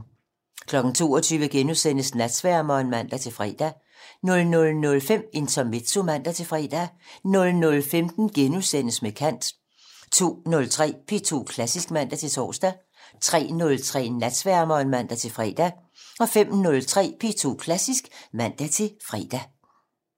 22:00: Natsværmeren *(man-fre) 00:05: Intermezzo (man-fre) 00:15: Med kant * 02:03: P2 Klassisk (man-tor) 03:03: Natsværmeren (man-fre) 05:03: P2 Klassisk (man-fre)